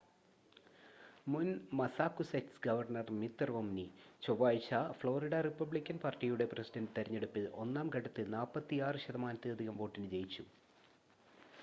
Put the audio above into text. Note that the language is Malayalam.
മുൻ മസ്സാകുസെറ്റ്സ് ഗവർണ്ണർ മിത് റോംനി ചൊവ്വഴ്ച ഫ്ലോറിഡ റിപ്പബ്ലിക്കൻ പാർട്ടിയുടെ പ്രെസിഡന്റ് തെരഞ്ഞെടുപ്പിന്റെ ഒന്നാം ഘട്ടത്തിൽ 46 ശതമാനത്തിലധികം വോട്ടിന് ജയിച്ചു